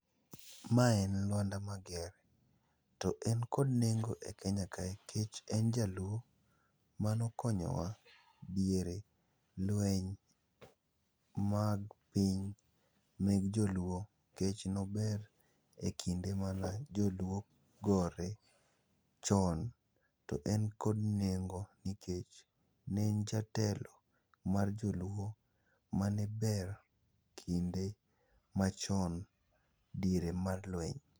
Ma en Lwanda Magere, to en kod nengo e Kenya kae kech en jaluo manokonyowa diere lweny mag piny meg joluo. Kech nober e kinde mane gore chon to en kod nengo nikech ne en jatelp mar joluo mane ber kinde machon diere mar lweny.